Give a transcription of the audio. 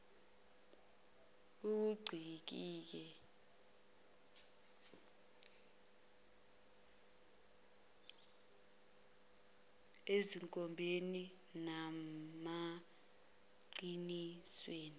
okuncike ezinkombeni nasemaqinisweni